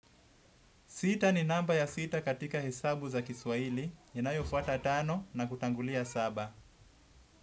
Sita ni namba ya sita katika hesabu za kiswaili, inayofuata tano na kutangulia saba.